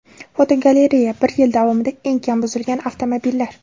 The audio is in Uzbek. Fotogalereya: Bir yil davomida eng kam buzilgan avtomobillar.